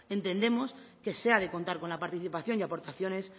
entendemos que se ha de contar con la participación y aportaciones